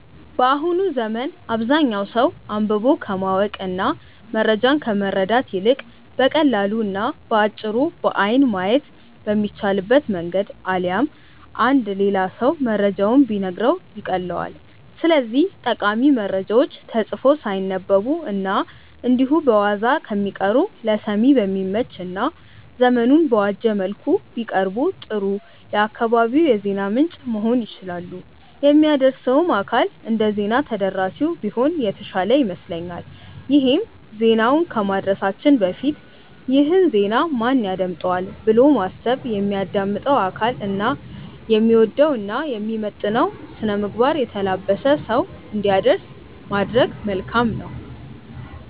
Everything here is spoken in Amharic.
በአሁኑ ዘመን አብዛኛው ሰው አንብቦ ከማወቅ እና መረጃን ከማግኘት ይልቅ በቀላሉ እና በአጭሩ በአይን ማየት በሚቻልበት መንገድ አሊያም አንድ ሌላ ሰው መረጃውን ቢነግረው ይቀልለዋል። ስለዚህም ጠቃሚ መረጃዎች ተጽፈው ሳይነበቡ እና እንዲሁ በዋዛ ከሚቀሩ ለሰሚ በሚመች እና ዘመኑን በዋጀ መልኩ ቢቀርቡ ጥሩ የአካባቢው የዜና ምንጭ መሆን ይችላሉ። የሚያደርሰውም አካል እንደዜና ተደራሲው ቢሆን የተሻለ ይመስለኛል ይሄም ዜናውን ከማድረሳችን በፊት "ይህን ዜና ማን ያዳምጠዋል?'' ብሎ በማሰብ የሚያዳምጠው አካል የሚወደውን እና የሚመጥነውን ስነምግባር የተላበሰ ሰው እንዲያደርስ ማድረግ መልካም ነው።